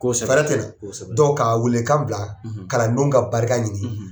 Ko sɛbɛ tɛ ka weelekan bila kalandenw ka barika ɲini